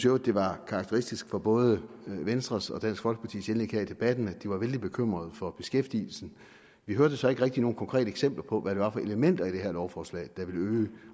øvrigt det var karakteristisk for både venstres og dansk folkepartis indlæg her i debatten at de var vældig bekymrede for beskæftigelsen vi hørte så ikke rigtig nogen konkrete eksempler på hvad det var for elementer i det her lovforslag der ville øge